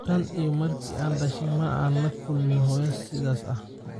Tan iyo markii aan dhashay, ma aanan la kulmin hooyo sidaada ah